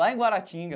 Lá em Guaratinga.